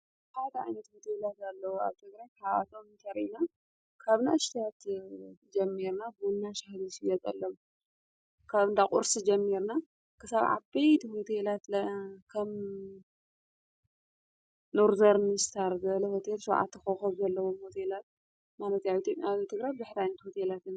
ሓድ ዓይነት ሆቴላት ኣለዉ፡፡ ኣብ ተግረ ሓዋት እንተሪና ካብ ና እሽተት ጀሚርና ቡና ሻሂ ዝሽየጠሎም ካብ እንዳቝርሲ ጀሞርና ክሳብ ዓበይቲ ሆቴላት ለ ከም ኖርዘርምስታር ዝበለ ሆቴል ሸዉዓተ ኾኾብ ዘለዎም ሆቴላት ማለት ኣዩ፡፡ ኣብ ትግራይ ሆቴላት የለውን፡፡